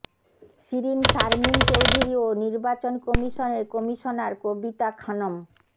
শিরীন শারমিন চৌধুরী ও নির্বাচন কমিশনের কমিশনার কবিতা খানম